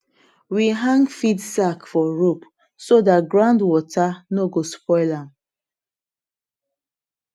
we hang feed sack for rope so that ground water no go spoil am